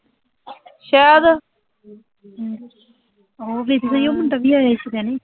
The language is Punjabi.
ਤੂੰ ਵੇਖਿਆ ਉਹ ਮੁੰਡਾ ਵੀ ਆਇਆ ਸੀਗਾ ਨੀਂ